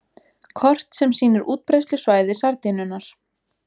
Kort sem sýnir útbreiðslusvæði sardínunnar.